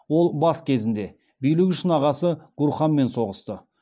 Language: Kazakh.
ол бас кезінде билік үшін ағасы гурханмен соғысты